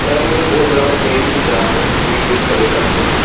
यहां पे मुझे बहोत बड़ा बड़ा पेड़ भी दिख रहा है जो कि ग्रीन कलर का है।